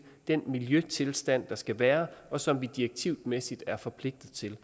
den miljøtilstand der skal være og som vi direktivmæssigt er forpligtet til